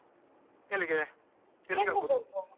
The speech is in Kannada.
ಎಲ್ಲಿಗೆ ಎಲ್ಲಿಗ್ ಅಗ್ಬೋದು ?